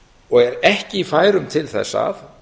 og er ekki í færum til þess að